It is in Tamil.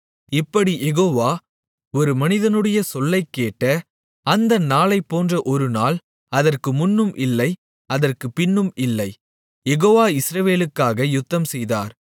இப்படிக் யெகோவா ஒரு மனிதனுடைய சொல்லைக் கேட்ட அந்த நாளைப்போன்ற ஒருநாள் அதற்கு முன்னும் இல்லை அதற்குப் பின்னும் இல்லை யெகோவா இஸ்ரவேலுக்காக யுத்தம்செய்தார்